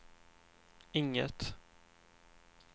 inget